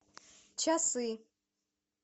часы